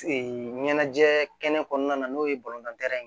ɲɛnajɛ kɛnɛ kɔnɔna na n'o ye ye